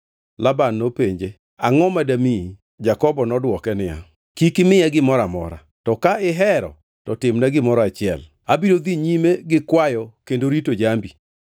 Laban nopenje, “Angʼo ma damiyi.” Jakobo nodwoke niya, “Kik imiya gimoro amora. To ka ihero to timna gimoro achiel, abiro dhi nyime gi kwayo kendo rito jambi.